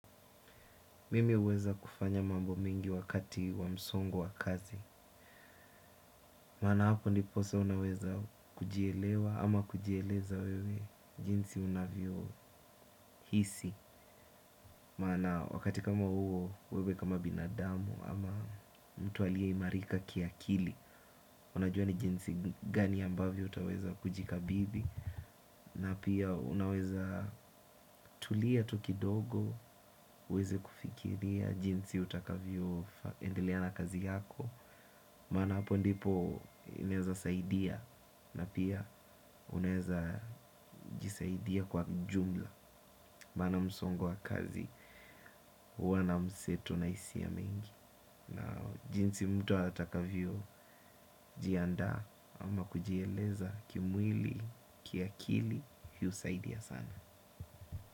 Mimi huweza kufanya mambo mingi wakati wamsongo wakazi maana hapo ndiposa unaweza kujielewa ama kujieleza wewe jinsi unavyo hisi maana wakati kama huo, wewe kama binadamu ama mtu aliyeimarika kiakili unajua ni jinsi gani ambavyo utaweza kujikabidhi na pia unaweza tulia tu kidogo, uweze kufikiria jinsi utakavyo endelea na kazi yako maana hapo ndipo inaeza saidia na pia unaeza jisaidia kwa ujumla maana msongo wa kazi huwa na mseto na hisia mengi na jinsi mtu atakavyo jianda ama kujieleza kimwili kiakili hii husaidia sana.